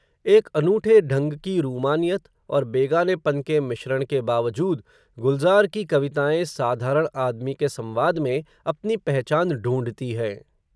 एक अनूठे ढंग की रूमानियत, और बेगानेपन के मिश्रण के बावजूद, गुलज़ार की कविताएँ, साधारण आदमी के संवाद में, अपनी पहचान ढूँढ़ती हैं